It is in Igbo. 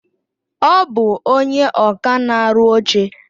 Ọ bụ ónyé ọkà na-arụ oche.